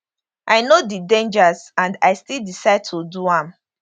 i know di dangers and i still decide to do am